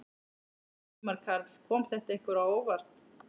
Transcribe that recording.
Ingimar Karl: Kom þetta ykkur á óvart?